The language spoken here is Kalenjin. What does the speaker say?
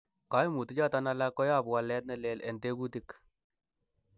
Koimutichuton alak koyobu walet nelel en tekutik.